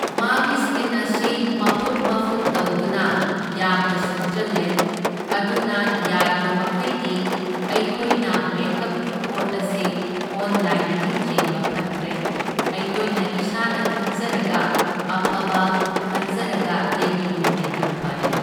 ꯃꯥꯒꯤ ꯁ꯭ꯀꯤꯟ ꯑꯁꯤ ꯃꯐꯨꯠ ꯃꯐꯨꯠ ꯇꯧꯗꯨꯅ ꯌꯥꯝꯅ ꯁꯣꯛꯆꯜꯂꯦ, ꯑꯗꯨꯅ ꯌꯥꯔꯤꯕꯃꯈꯩꯗꯤ ꯑꯩꯈꯣꯏꯅ ꯃꯦꯀꯞꯀꯤ ꯄꯣꯠ ꯑꯁꯤ ꯑꯣꯂꯥꯏꯟꯗꯒꯤ ꯆꯦꯟꯕ ꯐꯠꯇ꯭ꯔꯦ, ꯑꯩꯈꯣꯏꯅ ꯏꯁꯥꯅ ꯈꯟꯖꯔꯒ ꯑꯐꯕ ꯈꯟꯖꯔꯒ ꯂꯩꯕꯗꯨꯅ ꯍꯦꯟꯅ ꯐꯔꯦ꯫